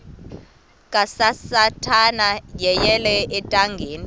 kasathana yeyele ethangeni